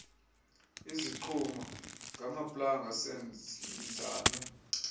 izigquma ngamaplanga seenzanwe